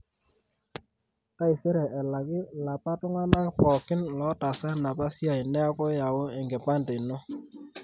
taisere elaki lapa tungana pooki lotaasa enapa siai neeku yau enkipande ino